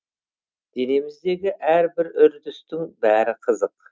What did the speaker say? денеміздегі әрбір үрдістің бәрі қызық